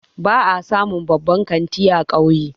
Ba a samun babban kanti a kauye